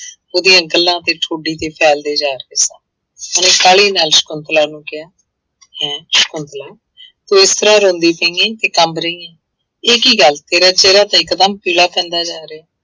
ਉਹਦੀਆਂ ਗੱਲਾਂ ਤੇ ਠੋਢੀ ਤੇ ਫੈਲਦੇ ਜਾ ਰਹੇ ਸਨ ਉਹਨੇ ਕਾਹਲੀ ਨਾਲ ਸਕੁੰਤਲਾ ਨੂੰ ਕਿਹਾ ਹੈਂ ਸਕੁੰਤਲਾ ਤੂੰ ਇਸ ਤਰ੍ਹਾਂ ਰੋਂਦੀ ਪਈ ਹੈ ਤੇ ਕੰਬ ਰਹੀਂ ਹੈ, ਇਹ ਕੀ ਗੱਲ ਤੇਰਾ ਚਿਹਰਾ ਤਾਂ ਇਕਦਮ ਪੀਲਾ ਪੈਂਦਾ ਜਾ ਰਿਹਾ।